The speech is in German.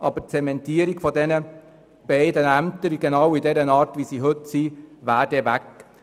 Dagegen würde eine Zementierung der beiden Ämter genau in der Form, wie sie heute existieren, wegfallen.